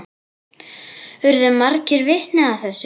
Urðu margir vitni að þessu.